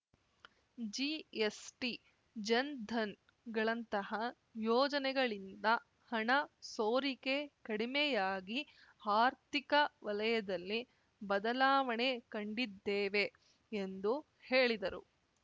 GST ಜನ್‌ಧನ್‌ಗಳಂತಹ ಯೋಜನೆಗಳಿಂದ ಹಣ ಸೋರಿಕೆ ಕಡಿಮೆಯಾಗಿ ಆರ್ಥಿಕ ವಲಯದಲ್ಲಿ ಬದಲಾವಣೆ ಕಂಡಿದ್ದೇವೆ ಎಂದು ಹೇಳಿದರು